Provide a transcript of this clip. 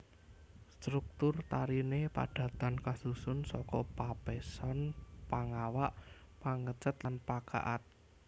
Struktur tarine padatan kasusun saka Papeseon Pangawak Pangecet lan Pakaad